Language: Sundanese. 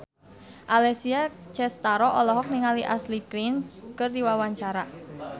Alessia Cestaro olohok ningali Ashley Greene keur diwawancara